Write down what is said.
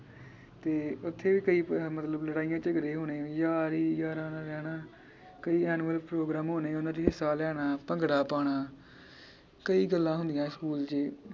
ਤੇ ਓਥੇ ਵੀ ਕਈ ਮਤਲਬ ਲੜਾਈਆਂ ਝਗੜੇ ਹੋਣੇ ਯਾਰ ਹੀ ਯਾਰਾਂ ਨਾਲ ਰਹਿਣਾ ਕਈ annual program ਹੋਣੇ ਉਹਨਾਂ ਚ ਹਿੱਸਾ ਲੈਣਾ ਭੰਗੜਾ ਪਾਉਣਾ ਕਈ ਗੱਲਾਂ ਹੁੰਦੀਆਂ ਸਕੂਲ ਚ ਈ